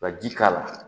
Ka ji k'a la